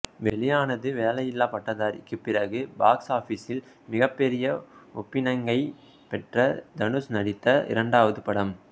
வெளியானது வேலையில்லா பட்டதாரிக்குப் பிறகு பாக்ஸ் ஆபிஸில் மிகப்பெரிய ஓப்பனிங்கைப் பெற்ற தனுஷ் நடித்த இரண்டாவது படம்